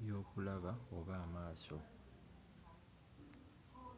byokulaba oba amaaso